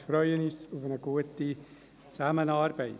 Wir freuen uns auf eine gute Zusammenarbeit.